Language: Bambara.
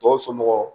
Tɔw somɔgɔw